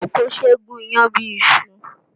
Kókò ṣé e gùn iyán bíi iṣu